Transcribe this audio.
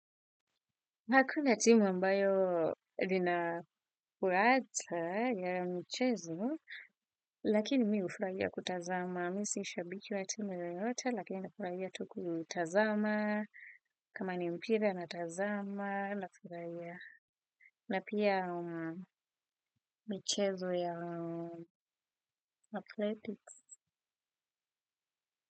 Hakuna timu ambayo linafurata ya mchezo, lakini mi ufuraia kutazama. Mi si shabiki wa timu yoyote lakini ufuraia tu kutazama, kama ni mpira natazama, nafuraia na pia michezo ya athletics.